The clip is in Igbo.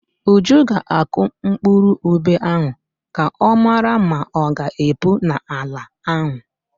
Uju ga-akụ mkpụrụ ube ahụ ka ọ mara ma ọ ga-epu n'ala ahụ.